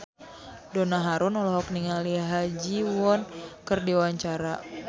Donna Harun olohok ningali Ha Ji Won keur diwawancara